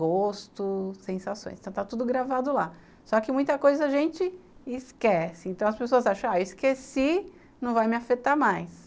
Gosto, sensações, então está tudo gravado lá. Só que muita coisa a gente esquece, então as pessoas acham, ah, eu esqueci, não vai me afetar mais